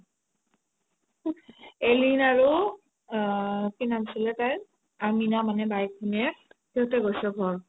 অলিন আৰু আ কি নাম আছিলে তাইৰ আমিনা মানে বায়েক ভণিয়েক সিহতে গৈছে ঘৰ